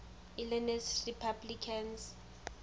illinois republicans